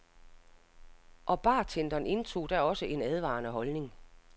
Og bartenderen indtog da også en advarende holdning.